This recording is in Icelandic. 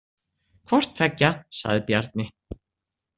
Hvorttveggja, sagði Bjarni.